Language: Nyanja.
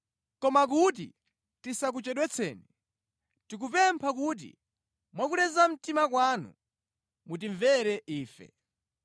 Koma kuti tisakuchedwetseni, ndikupempha kuti mwa kuleza mtima kwanu mutimvere ife.